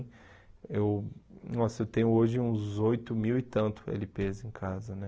Eu nossa, eu tenho hoje uns oito mil e tanto ele pês em casa, né?